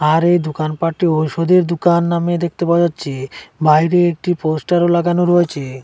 আর এই দুকানপাটটি ঔষুধের দুকান নামে দেখতে পাওয়া যাচ্ছে বাইরে একটি পোস্টারও লাগানো রয়েচে।